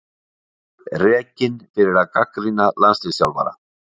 Rekinn fyrir að gagnrýna landsliðsþjálfara